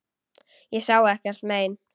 Ég sá ekkert mein.